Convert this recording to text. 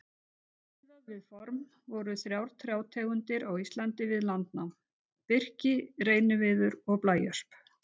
Sé miðað við form voru þrjár trjátegundir á Íslandi við landnám: Birki, reyniviður og blæösp.